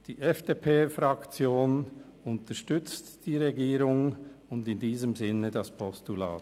Die FDP-Fraktion unterstützt die Regierung und in diesem Sinne das Postulat.